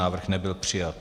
Návrh nebyl přijat.